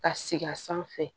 Ka sigi a sanfɛ